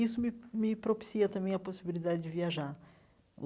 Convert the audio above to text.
Isso me me propicia também a possibilidade de viajar.